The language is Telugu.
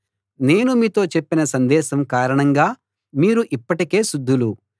నేను మీతో చెప్పిన సందేశం కారణంగా మీరు ఇప్పటికే శుద్ధులు